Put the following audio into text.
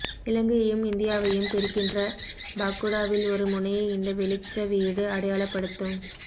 இலங்கையையும் இந்தியாவையும் பிரிக்கின்ற பாக்குடாவில் ஒரு முனையை இந்த வெளிச்சவீடு அடையாளப்படுத்தும்